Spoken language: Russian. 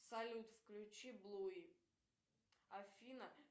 салют включи блуи афина